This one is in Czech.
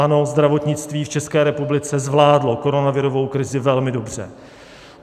Ano, zdravotnictví v České republice zvládlo koronavirovou krizi velmi dobře.